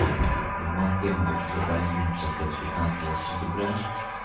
типа в москве могут закарантиниться опять пятнадцатого сентября